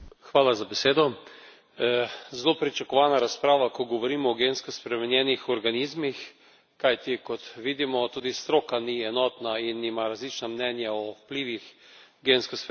Zelo pričakovana razprava, ko govorimo o gensko spremenjenih organizmih, kajti, kot vidimo, tudi stroka ni enotna in ima različna mnenja o vplivih gensko spremenjenih organizmov.